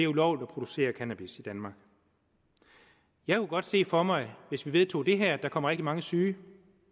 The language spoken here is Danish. ulovligt at producere cannabis i danmark jeg kunne godt se for mig hvis vi vedtog det her at der kom rigtig mange syge